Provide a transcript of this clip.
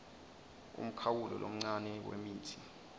umkhawulo lomncane wemitsi